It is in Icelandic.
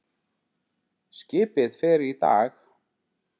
Skipið fer í dag.